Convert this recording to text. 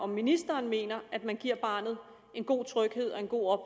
ministeren mener at man giver barnet en god tryghed og en god